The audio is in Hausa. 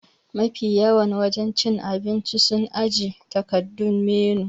Ma fi yawan wajen cin abinci su ajiye takardan menu